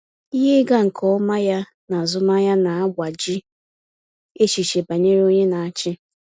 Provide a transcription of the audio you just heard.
Ihe ịga nke ọma ya na azụmahịa na-agbaji echiche banyere onye na-achị.